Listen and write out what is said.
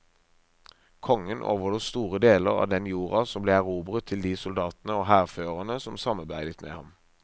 Kongen overlot store deler av den jorda som ble erobret til de soldatene og hærførerne som samarbeidet med ham.